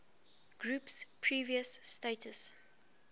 group's previous status